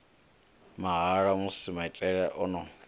mahala musi maitele o no